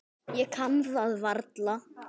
Ég kann það varla.